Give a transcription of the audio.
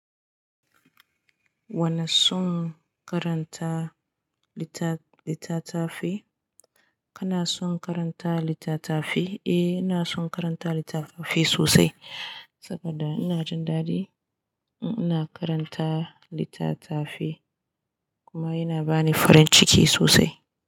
Wana son karanta littatafai? Kana son karanta littatafai? Eh, ina son karanta littatafai sosai saboda ina jin daɗi in ina karanta littatafai kuma yana bani farin ciki sosai.